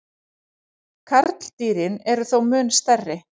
Karldýrin eru þó mun stærri.